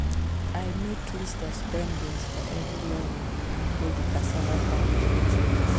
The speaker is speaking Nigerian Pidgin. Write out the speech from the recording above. i make list of spendings for every level level wey di cassava farm produce reach